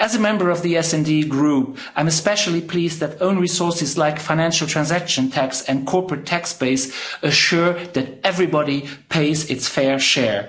As a member of the SD Group, I'm especially pleased that own resources like a financial transaction tax and corporate tax base ensure that everybody pays their fair share.